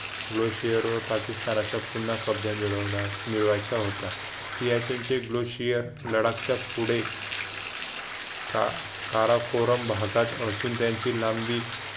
low share वर पाकिस्तानाचा पुन्हा कब्जा मिळवायचा होता सियाचेन चे ग्रशिया लडाखच्या पुढे काराकोरम भागात असून त्यांची लांबी